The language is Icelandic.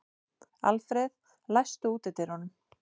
Alfred, læstu útidyrunum.